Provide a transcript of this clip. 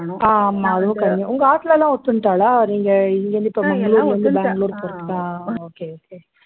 ஆமா உங்க ஆத்தில எல்லாம் ஒத்துண்டாளா நீங்க இங்க இருந்து இப்ப மங்களூருல இருந்து பெங்களூரு போறதுக்கு ஆஹ் okay okay